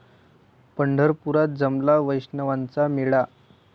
पंढरपुरात जमला वैष्णवांचा मेळा